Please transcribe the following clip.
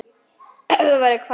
Ef þú værir hvað?